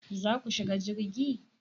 Za ku shiga jirgi?